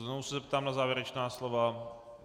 Znovu se zeptám na závěrečná slova.